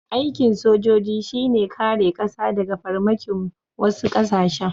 Aikin sojoji shi ne kare ƙasa daga farmakin wasu ƙasashen.